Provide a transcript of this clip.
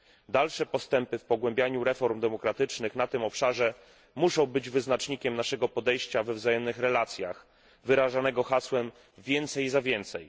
Dalsze postępy w pogłębianiu reform demokratycznych na tym obszarze muszą być wyznacznikiem naszego podejścia we wzajemnych relacjach wyrażanego hasłem więcej za więcej.